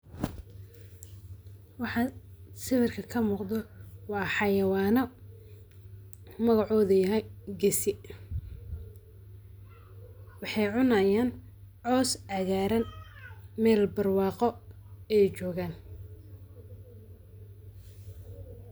Waxan sawirka kamugdho wa xawayanyo, magacodhu yahay, geesiiwaxay cunayan coos caqaraan, mel barwaqo ayay jogan